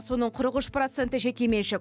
соның қырық үш проценті жекеменшік